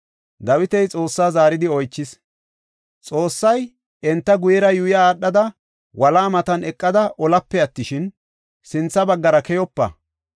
Dawiti Xoossaa zaaridi oychis. Xoossay, “Enta guyera yuuya aadhada wolaa matan eqada olape attishin, sintha baggara keyopa.